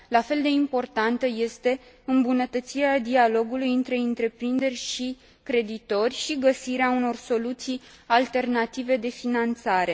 La fel de importantă este îmbunătățirea dialogului între întreprinderi și creditori și găsirea unor soluții alternative de finanțare.